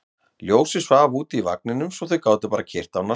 Ljósið svaf úti í vagninum svo þau gátu bara keyrt hann af stað.